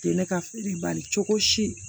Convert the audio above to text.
Tɛ ne ka fili bali cogo si